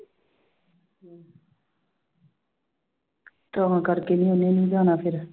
ਤਾਂ ਕਰਕੇ ਨੀ ਉਹਨੇ ਨੀ ਜਾਣਾ ਫਿਰ।